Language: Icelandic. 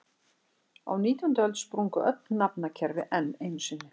Á nítjándu öld sprungu öll nafnakerfi enn einu sinni.